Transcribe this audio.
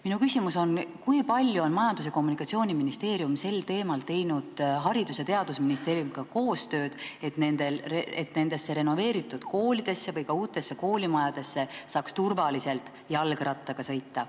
Minu küsimus on, kui palju on Majandus- ja Kommunikatsiooniministeerium sel teemal teinud koostööd Haridus- ja Teadusministeeriumiga, et nendesse renoveeritud koolidesse või ka uutesse koolimajadesse saaks turvaliselt jalgrattaga sõita.